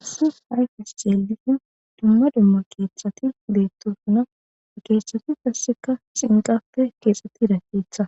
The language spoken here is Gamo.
haysi hayfes xeelishin duma duma keeththati deettosuna a keeththati tasseka xinqappe keexetti rakkeetha